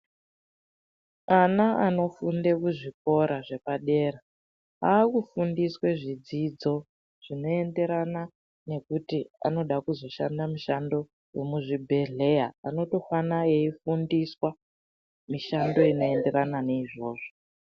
Ana anofunde kuzvikora zvepadera, akufundiswe zvidzidzo zvinoyenderana nekuti anoda kuzoshanda mushando umuzvhibhedhleya, anotohwana eyifundiswa mishando inoyenderana neyizvozvo.